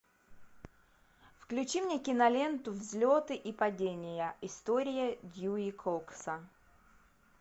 включи мне киноленту взлеты и падения история дьюи кокса